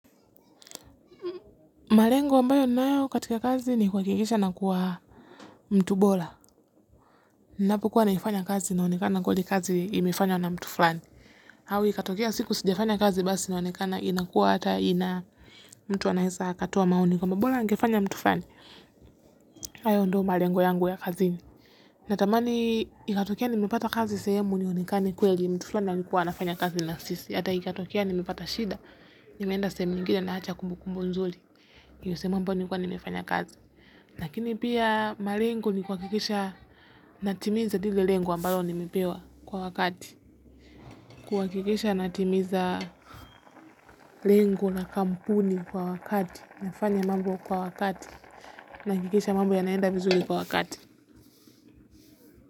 Malengo ambayo ninayo katika kazi ni kwakikisha nakuwa mtu bola. Napokua naifanya kazi inaonekana kweli kazi imefanywa na mtu fulani au ikatokea siku sijafanya kazi basi inaonekana inakua ata ina mtu anaeza akatoa maoni kwamba bora angefanya mtu fulani hayo ndio malengo yangu ya kazini. Natamani ikatokea nimepata kazi sehemu nionekana kweli mtu flani alikua anafanya kazi na sisi. Hata ikatokea nimepata shida, nimeenda sehemu nyingine naacha kumbu kumbu nzuli. Yuse mambo nilikua nimefanya kazi. Lakini pia malengo ni kwakikisha natimiza dile lengo ambalo nimepewa kwa wakati. Kuakikisha natimiza lengo la kampuni kwa wakati. Nifanye mambo kwa wakati. Naakikisha mambo yanaenda vizuli kwa wakati.